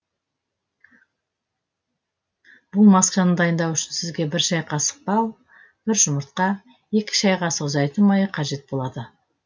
бұл масканы дайындау үшін сізге бір шәй қасық бал бір жұмыртқа екі шәй қасық зәйтүн майы қажет болады